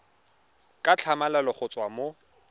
ka tlhamalalo go tswa mo